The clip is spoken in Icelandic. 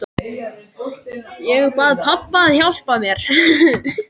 Ég bað pabba að hjálpa mér.